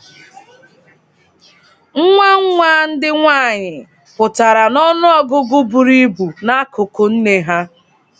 “Nwa nwa ndị nwaanyị” pụtara n'ọnụọgụgụ buru ibu n'akụkụ “nne” ha.